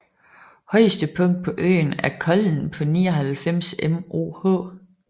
Højeste punkt på øen er Kollen på 99 moh